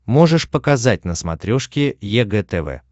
можешь показать на смотрешке егэ тв